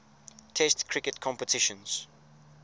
test cricket competitions